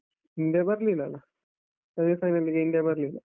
India ಬರ್ಲಿಲ್ಲಲ? semi final ಗೆ India ಬರ್ಲಿಲ್ಲ.